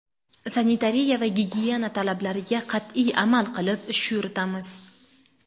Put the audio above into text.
Sanitariya va gigiyena talablariga qat’iy amal qilib, ish yuritamiz”.